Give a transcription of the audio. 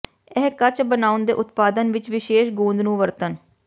ਇਹ ਕੱਚ ਬਣਾਉਣ ਦੇ ਉਤਪਾਦਨ ਵਿੱਚ ਵਿਸ਼ੇਸ਼ ਗੂੰਦ ਨੂੰ ਵਰਤਣ